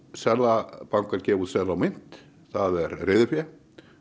seðlabankar gefa út seðla og mynt það er reiðufé